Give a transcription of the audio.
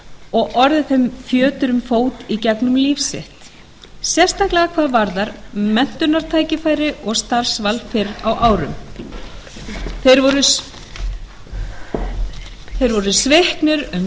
og orðið þeim fjötur um fót í gegnum líf sitt sérstaklega hvað varðar menntunartækifæri og starfsval fyrr á árum þeir voru sviknir um